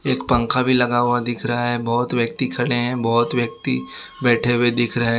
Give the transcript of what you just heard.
एक पंखा भी लगा हुआ दिख रहा है बहुत व्यक्ति खड़े हैं बहुत व्यक्ति बैठे हुए दिख रहे --